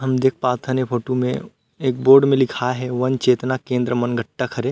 हम देख पात हन ए फोटू में एक बोर्ड में लिखाए हे वन चेतना केंद्र मनगट्टा हरे।